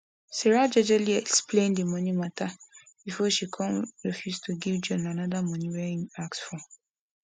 sarah jejely explain the money matter before she come refuse to give john another money wey im ask for